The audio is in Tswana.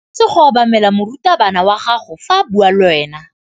O tshwanetse go obamela morutabana wa gago fa a bua le wena.